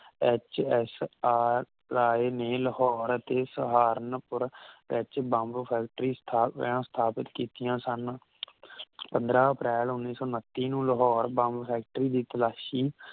H S R Rai ਨੇ ਲਾਹੌਰ ਅਤੇ ਸਹਾਰਨਪੁਰ ਵਿਚ ਬੰਬ ਫੈਕਟਰੀ ਸਥਾਪ ਸਥਾਪਿਤ ਕੀਤੀਆਂ ਸਨ ਪੰਦ੍ਰਹ ਅਪ੍ਰੈਲ ਉੱਨੀ ਸੌ ਉਨੱਤੀ ਨੂੰ ਲਾਹੌਰ ਬੰਬ ਫੈਕਟਰੀ ਦੀ ਤਲਾਸ਼ੀ